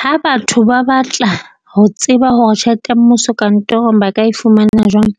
Ha batho ba batla ho tseba hore tjhelete ya mmuso kantorong ba ka e fumana jwang,